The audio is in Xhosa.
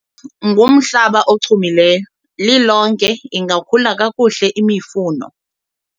lo ngumhlaba ochumileyo, lilonke ingakhula kakuhle imifuno